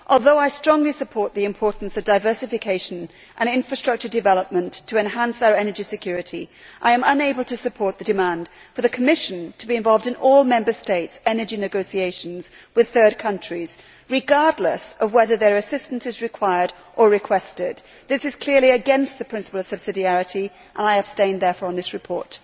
Although I strongly support the importance of diversification and infrastructure development to enhance our energy security, I am unable to support the demand for the Commission to be involved in all Member States' energy negotiations with third countries, regardless of whether its assistance is required or requested. This is clearly against the principle of subsidiarity. I therefore abstained on this report.